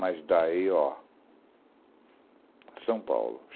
Mas daí, ó... São Paulo.